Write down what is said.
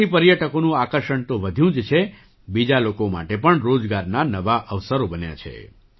તેનાથી પર્યટકોનું આકર્ષણ તો વધ્યું જ છે બીજા લોકો માટે પણ રોજગારના નવા અવસરો બન્યા છે